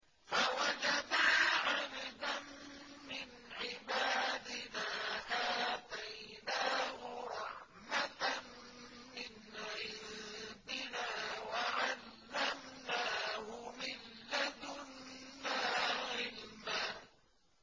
فَوَجَدَا عَبْدًا مِّنْ عِبَادِنَا آتَيْنَاهُ رَحْمَةً مِّنْ عِندِنَا وَعَلَّمْنَاهُ مِن لَّدُنَّا عِلْمًا